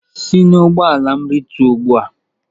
Si n'ụgbọala m rịtuo ugbu a.!